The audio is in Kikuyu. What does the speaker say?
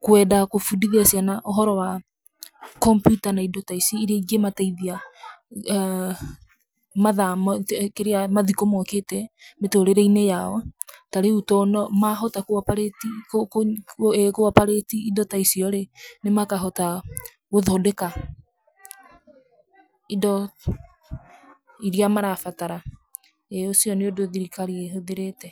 kwenda kũmbundithĩa ciana ũhoro wa computer na indo ta ici iria ingĩmateithia mathikũ-inĩ mokĩte mĩtũrĩre-inĩ yao ta rĩu mahota kũoparĩti indo ta icio rĩ, makahota gũthondeka indo iria marambatara ĩĩ ũcio nĩ ũndũ thirikari ĩhũthĩrĩte.